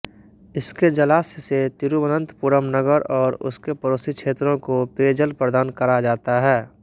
इसके जलाश्य से तिरुवनन्तपुरम नगर और उसके पड़ोसी क्षेत्रों को पेयजल प्रदान करा जाता है